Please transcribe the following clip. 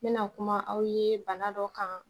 N mɛna kuma aw ye bana dɔ kan